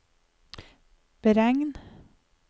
beregn